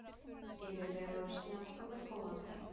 Yfirvegaður, snjall og með góða tæknilega getu.